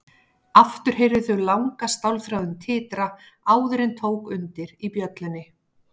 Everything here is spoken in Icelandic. Aftur heyrðu þau langa stálþráðinn titra áður en tók undir í bjöllunni.